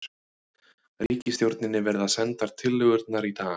Ríkisstjórninni verða sendar tillögurnar í dag